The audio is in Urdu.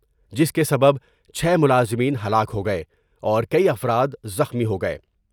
جس کے سبب چھے ملازمین ہلاک ہو گئے اور کئی افراد زخمی ہو گئے ۔